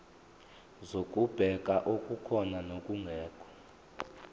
zokubheka okukhona nokungekho